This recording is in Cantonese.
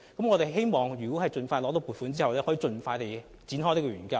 我們希望在獲得撥款後，盡快展開研究。